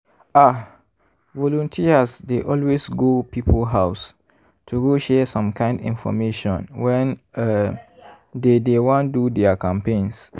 ah! volunteers dey always go people house to go share some kind infomation when um dey dey wan do their campaigns.